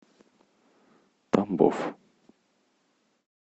тамбов